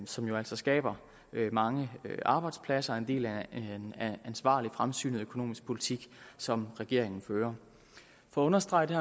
som jo altså skaber mange arbejdspladser den er en del af en ansvarlig fremsynet økonomisk politik som regeringen fører for at understrege det